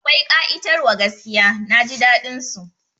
Akwai ƙa'itar wa gaskiya, Naji daɗin su